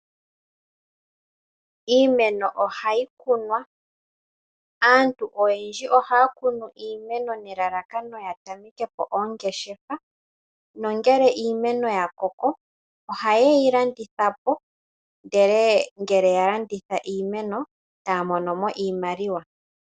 Iimeno ohayi kunwa. Aantu oyendji ohaya kunu iimeno nelalakano ya tameke po oongeshefa nongele iimeno ya koko ohaye yi landitha po nuuna ya landitha iimeno taa mono mo iimaliwa.